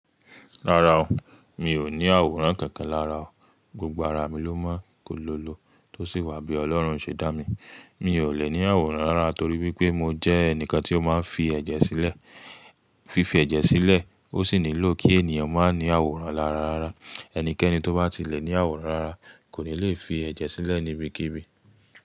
Rárá o, mi ò ní àwòrán kánkan lára o. Gbogbo ara mi ló mọ kólolo tó sì wà bí Ọlọ́run ṣe dá mi. Mi ò lè ní àwòrán rara torí wípé mo jẹ́ ẹnìkan tí ó máa ń fi ẹ̀jẹ̀ sílẹ̀, fífi ẹ̀jẹ̀ sílẹ̀ ó sì nílò kí ènìyàn má ní àwòrán lára rara. Ẹnikẹ́ni tó bá ti lè ní àwòrán lara kò ní le fi ẹ̀jẹ̀ sílẹ̀ níbikíbi.